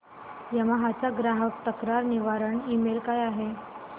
Yamaha चा ग्राहक तक्रार निवारण ईमेल काय आहे